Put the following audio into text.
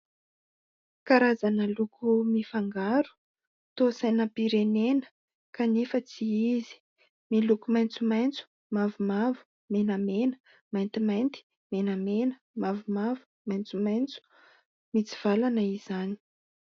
Karazana loko mifangaro toa sainam-pirenena kanefa tsy izy, miloko maitsomaitso, mavomavo, menamena, mantimainty, menamena, mavomavo, maitsomaitso, mitsivalana izany.